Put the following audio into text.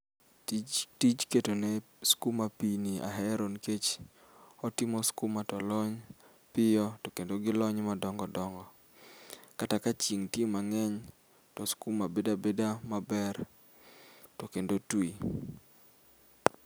Tij tij ketone skuma piini ahero nikech otimo skuma tolony piyo tokendo kilony madongo dongo kata kachieng' nitie mang'eny to skuma bedo abedo maber tokendo twi.